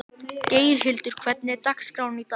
Geirhildur, hvernig er dagskráin í dag?